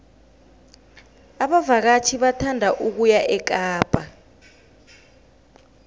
abavakatjhi bathanda ukuya ekapa